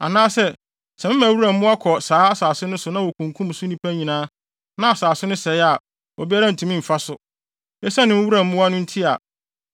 “Anaa sɛ mema wuram mmoa kɔ saa asase no so na wokunkum so nnipa nyinaa na asase no sɛe a obiara ntumi mfa so, esiane wuram mmoa no nti a,